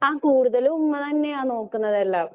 ആഹ കൂടുതലും ഉമ്മയാ നോക്കുന്നതെല്ലാം.